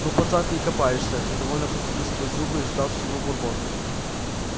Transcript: ну пацан ты и копаешься недовольно процедил сквозь зубы ждавший его бурбон